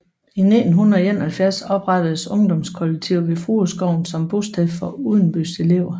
I 1971 oprettedes ungdomskollegiet ved Frueskoven som bosted for udenbys elever